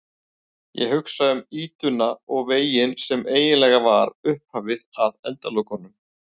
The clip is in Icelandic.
Ég hugsa um ýtuna og veginn sem eiginlega var upphafið að endalokunum.